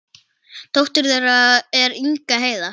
Dóttir þeirra er Inga Heiða.